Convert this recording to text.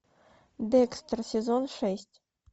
декстер сезон шесть